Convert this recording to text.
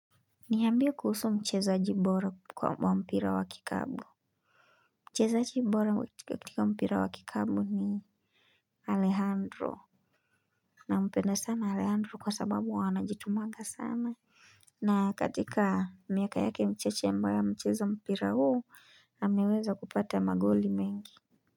Niambie kuhusu mchezaji bora kwa mpira wa kikapu. Mchezaji bora kutika mpira wa kikapu ni Alehandro. Nampenda sana Alehandro kwa sababu anajitumanga sana. Na katika miaka yake mchache ambayo amecheza mpira huu ameweza kupata magoli mengi.